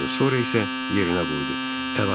Sonra isə yerinə qoydu.